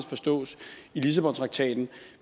forstås i lissabontraktaten